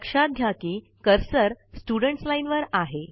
लक्षात घ्या कि कर्सर स्टुडेंट्स लाईन वर आहे